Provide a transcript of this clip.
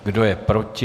Kdo je proti?